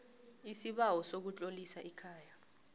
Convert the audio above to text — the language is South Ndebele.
isibawo sokutlolisa ikhaya